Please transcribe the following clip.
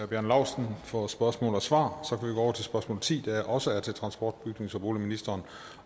bjarne laustsen for spørgsmål og svar så kan over til spørgsmål ti der også er til transport bygnings og boligministeren